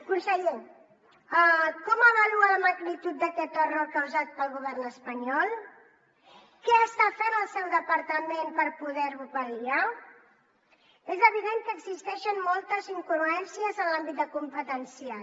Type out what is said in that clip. conseller com avalua la magnitud d’aquest error causat pel govern espanyol què està fent el seu departament per poder ho pal·liar és evident que existeixen moltes incongruències en l’àmbit competencial